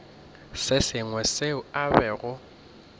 se sengwe seo a bego